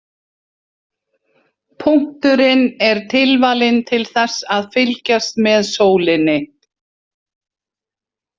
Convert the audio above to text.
Punkturinn er tilvalinn til þess að fylgjast með sólinni.